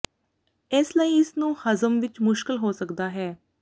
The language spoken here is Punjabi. ਇਸ ਲਈ ਇਸ ਨੂੰ ਹਜ਼ਮ ਵਿੱਚ ਮੁਸ਼ਕਲ ਹੋ ਸਕਦਾ ਹੈ